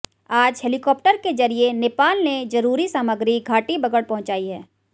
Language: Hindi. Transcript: आज हेलीकॉप्टर के जरिये नेपाल ने जरूरी सामग्री घाटीबगड़ पहुंचाई है